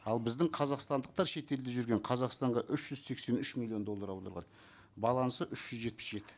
ал біздің қазақстандықтар шетелде жүрген қазақстанға үш жүз сексен үш миллион доллар аударған балансы үш жүз жетпіс жеті